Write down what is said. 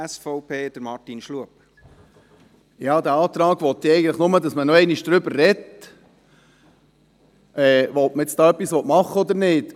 Der Antrag will ja eigentlich nur, dass man noch einmal darüber spricht, ob man da etwas machen will oder nicht.